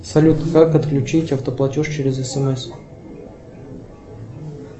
салют как отключить автоплатеж через смс